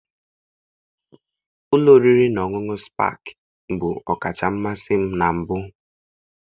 Ụlọ oriri na ọṅụṅụ Spakịị bụ ọkacha mmasị m na mbụ